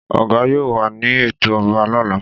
Ọgà yóò wà ní ètò ọba lọ́la.